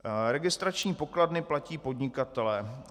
Registrační pokladny platí podnikatelé.